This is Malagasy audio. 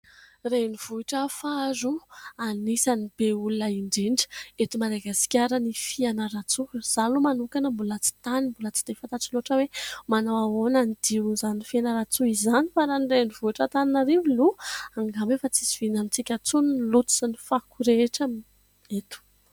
Renivohitra faharoa anisany be olona indrindra eto Madagasikara : ny Fianarantsoa. Izaho aloha manokana mbola tsy tany mbola tsy dia fatatro loatra hoe manao ahoana ny dion'izany Fianaratsoa izany fa raha ny renivohitra Antananarivo aloha ; angamba efa tsy zoviana amintsika intsony ny loto sy ny fako rehetra eto.